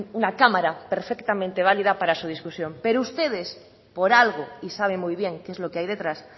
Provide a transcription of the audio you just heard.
una cámara perfectamente válida para su discusión pero ustedes por algo y sabe muy bien qué es lo que hay detrás